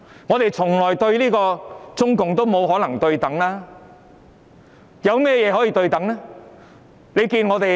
我們與中共從來也沒可能對等，有甚麼可以對等？